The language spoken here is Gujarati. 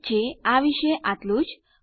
ઠીક છે આ વિશે આટલું જ